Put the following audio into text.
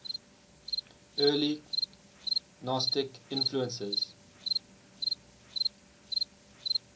early gnostic influences